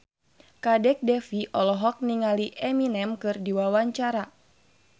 Kadek Devi olohok ningali Eminem keur diwawancara